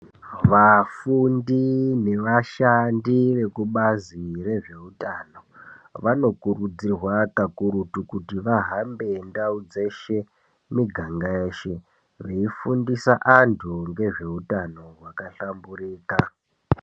Vafundi nevashandi vekubazi rezveutano vanokurudzirwa kakurutu kuti vahambe ndau dzeshe, miganga yeshe veifundisa antu ngezveutano hwakahlamburika.